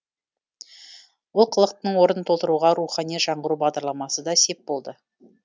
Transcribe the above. олқылықтың орнын толтыруға рухани жаңғыру бағдарламасы да сеп болды